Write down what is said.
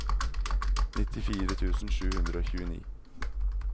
nittifire tusen sju hundre og tjueni